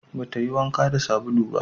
Ba ta yi wanka da sabulu ba